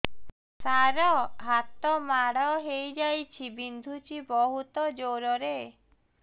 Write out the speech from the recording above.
ସାର ହାତ ମାଡ଼ ହେଇଯାଇଛି ବିନ୍ଧୁଛି ବହୁତ ଜୋରରେ